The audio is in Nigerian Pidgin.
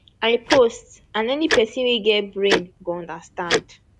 i post and any pesin wey get brain go understand